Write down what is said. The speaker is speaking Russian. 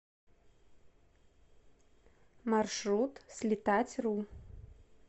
маршрут слетатьру